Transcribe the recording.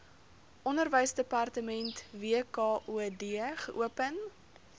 onderwysdepartement wkod geopen